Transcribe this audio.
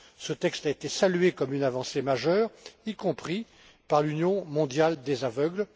Ce texte a été salué comme une avancée majeure, y compris par l'Union mondiale des aveugles.